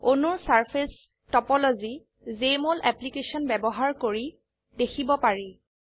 অণুৰ surface topology Jmol application ব্যবহাৰ কৰি দেখিব পাৰি